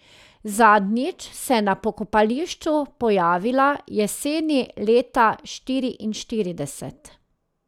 Zadnjič se je na pokopališču pojavila jeseni leta štiriinštirideset.